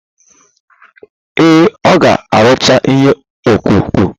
Ee, ọ ga arụcha ihe ọkpụkpụ.